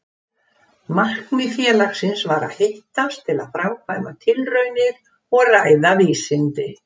Markmið félagsins var að hittast til að framkvæma tilraunir og ræða vísindi.